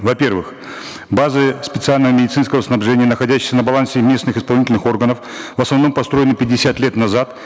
во первых базы специального медицинского снабжения находящиеся на балансе местных исполнительных органов в основном построены пятьдесят лет назад